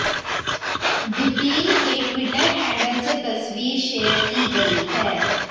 दिपील के Twitter handle से तस्वीर शेयर की गई है